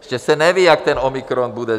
Ještě se neví, jak ten omikron bude.